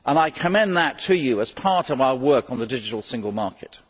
I commend that to you as part of our work on the digital single market.